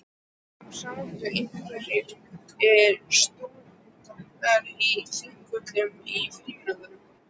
Stundum sátu einhverjir stúdentar á þingpöllum í frímínútum.